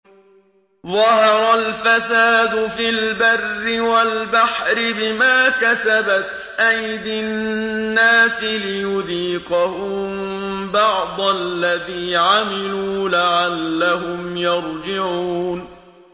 ظَهَرَ الْفَسَادُ فِي الْبَرِّ وَالْبَحْرِ بِمَا كَسَبَتْ أَيْدِي النَّاسِ لِيُذِيقَهُم بَعْضَ الَّذِي عَمِلُوا لَعَلَّهُمْ يَرْجِعُونَ